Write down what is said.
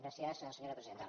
gràcies senyora presidenta